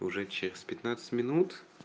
уже через пятнадцать минут